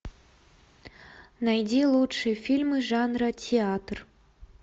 найди лучшие фильмы жанра театр